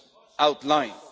I've just